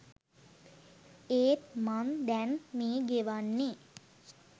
ඒත් මං දැන් මේ ගෙවන්නෙ